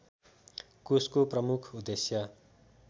कोषको प्रमुख उद्देश्य